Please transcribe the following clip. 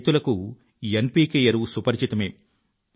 రైతులకు N P K ఎరువు సుపరిచితమే